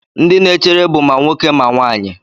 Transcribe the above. Ndị na-echere bụ ma nwoke ma nwanyị.